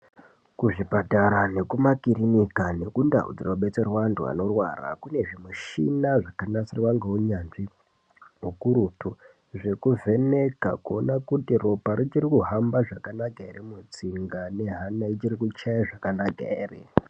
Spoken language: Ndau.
Ku zvipatara ne kuma kiriniki neku ndau dzino batsirwa andu ano rwara kune zvimishina zvaka natsirwa ngeu nyanzvi ukurutu zveku vheneka kuona kuti ropa richiri kuhamba zvaka naka ere mutsinga ne hana ichiri kuchaya zvaka naka ere.